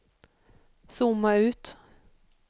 zooma ut